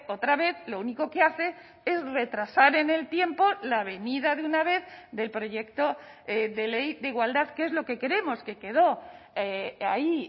otra vez lo único que hace es retrasar en el tiempo la venida de una vez del proyecto de ley de igualdad que es lo que queremos que quedó ahí